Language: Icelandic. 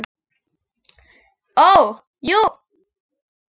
Ó, jú.